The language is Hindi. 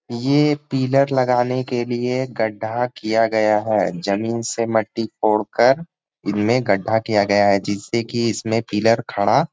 ये पिलर लगाने के लिए गड्डा किया गया है जमीन से मट्टी कोढ़ कर इनमे गड्डा किया गया है। जिससे की इसमें पिलर खड़ा--